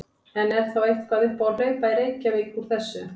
En er þá eitthvað upp á að hlaupa í Reykjavík úr þessu?